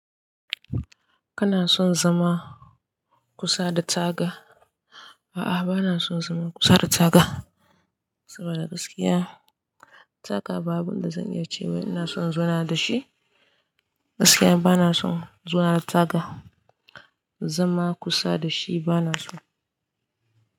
Kana son zama kusa da taga? A'a bana son zama kusa da taga saboda gaskiya taga ba abunda zan iya ce wai ina son i in zauna da shi. Gaskiya bana son zauna da taga, zama kusa da shi bana so.